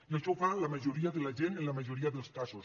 i això ho fa la majoria de la gent en la majoria dels casos